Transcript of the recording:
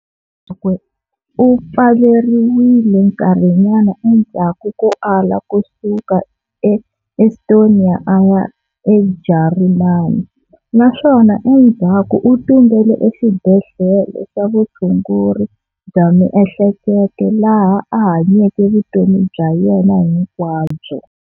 De Wahl hi byakwe u pfaleriwile nkarhinyana endzhaku ko ala ku suka eEstonia a ya eJarimani, naswona endzhaku u tumbele exibedhlele xa vutshunguri bya miehleketo laha a hanyeke vutomi bya yena hinkwabyo.